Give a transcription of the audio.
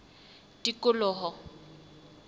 tikoloho